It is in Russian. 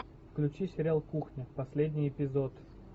включи сериал кухня последний эпизод